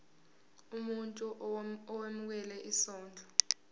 umuntu owemukela isondlo